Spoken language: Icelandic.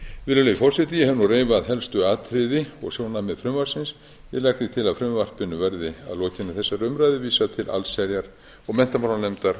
virðulegi forseti ég hef nú reifað helstu atriði og sjónarmið frumvarpsins ég legg því til að frumvarpinu verði að lokinni þessari umræðu vísað til allsherjar og menntamálanefndar